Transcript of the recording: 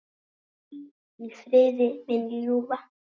Hvíl í friði, mín ljúfa.